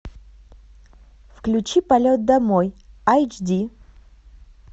включи полет домой айч ди